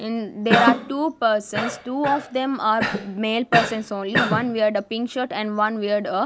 and there are two persons two of them are male persons only one weared a pink shirt and one weared a --